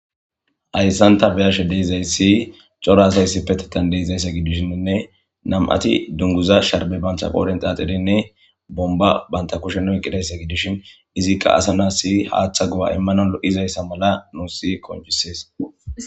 hayssanta beyashe deezayssi coro asaysi petetan deizayssa gidishiinne nam7ati dunguza sharbe bantha qoodent axerenne bomba banta kushenu eqqidaysa gidishin izikka asana si haaththa gu7a immano lo7izayssa mala nussi konchisees